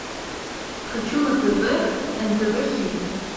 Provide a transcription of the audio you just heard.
хочу на тв нтв хит